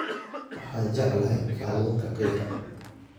Waxaan jeclahay kalluunka qiiqa